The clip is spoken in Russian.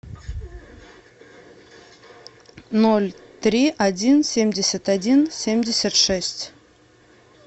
ноль три один семьдесят один семьдесят шесть